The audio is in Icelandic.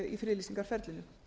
í friðlýsingarferlinu